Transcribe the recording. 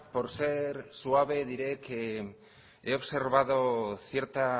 por ser suave diré que he observado cierta